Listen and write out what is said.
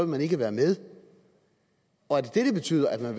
man ikke være med og er det det det betyder at man